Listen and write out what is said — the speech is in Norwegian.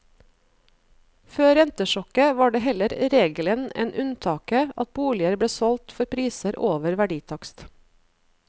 Før rentesjokket var det heller regelen enn unntaket at boliger ble solgt for priser over verditakst.